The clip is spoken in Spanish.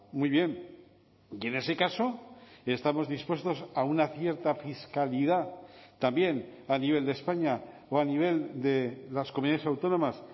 muy bien y en ese caso estamos dispuestos a una cierta fiscalidad también a nivel de españa o a nivel de las comunidades autónomas